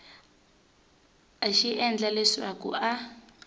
a xi endla leswaku a